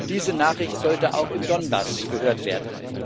Diese Nachricht sollte auch im Donezbecken gehört werden.